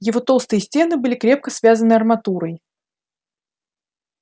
его толстые стены были крепко связаны арматурой